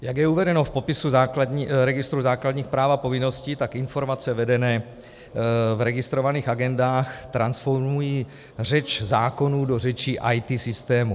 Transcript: Jak je uvedeno v popisu registru základních práv a povinností, tak informace vedené v registrovaných agendách transformují řeč zákonů do řeči IT systémů.